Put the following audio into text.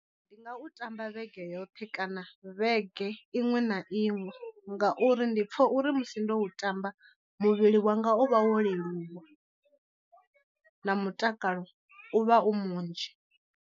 Ndi nga u tamba vhege yoṱhe kana vhege iṅwe na iṅwe ngauri ndi pfha uri musi ndo u tamba muvhili wanga u vha wo leluwa na mutakalo u vha u munzhi.